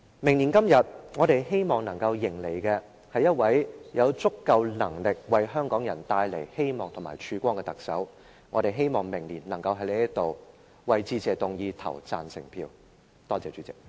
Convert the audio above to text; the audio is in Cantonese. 明年今天，我們希望能迎接一位有足夠能力為香港人帶來希望及曙光的特首，我們希望明年能夠在此就致謝議案投下贊成票。